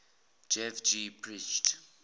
dev ji preached